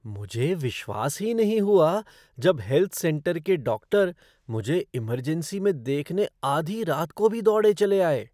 मुझे विश्वास ही नहीं हुआ जब हेल्थ सेंटर के डॉक्टर मुझे इमरजेंसी में देखने आधी रात को भी दौड़े चले आए।